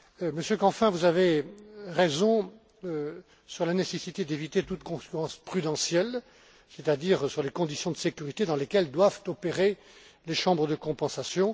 Monsieur Canfin, vous avez raison quant à la nécessité d'éviter toute concurrence prudentielle, touchant aux conditions de sécurité dans lesquelles doivent opérer les chambres de compensation.